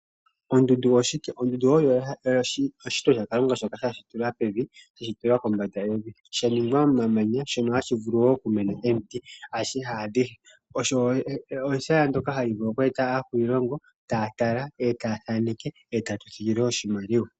Ondundu oyo ehala lyoshishitwa shaKalunga shoka sha shitulwa pevi sha shitilwa kombanda yevi sha ningwa momamanya shono hashi vulu wo okumena omiti osho ehala ndoka hali vulu okweeta akwiilongo taa tala eta thaaneke eta imonene oshimaliwa.